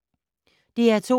DR2